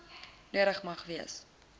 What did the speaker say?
nodig mag wees